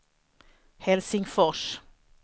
Helsingfors